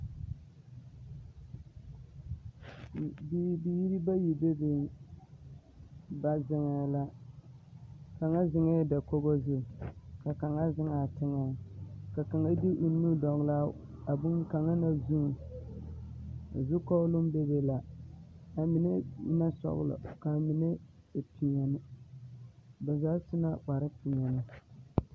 Bibiiri bayi bebeŋ ba zeŋɛɛ la kaŋa zeŋɛɛ dakogi zu ka kaŋa zeŋ a teŋɛ ka kaŋa de o nu dɔgle a boŋkaŋa zuŋ zukɔɔloŋ bebe la amine e la sɔglɔ ka amine meŋ e peɛne ba zaa su la kpare peɛne.